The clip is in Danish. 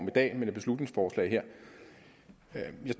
i dag men et beslutningsforslag